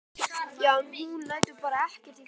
Já, en hún lætur bara ekkert í friði.